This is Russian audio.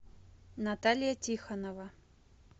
наталья тихонова